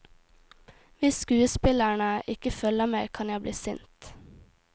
Hvis skuespillerne ikke følger med kan jeg bli sint.